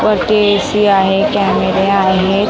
वरती ए_सी आहे कॅमेरे आहेत.